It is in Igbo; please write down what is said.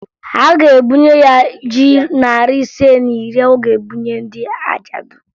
A ga-ebunye ya ji narị ise na iri ọ ga-ebunye ndị ajadụ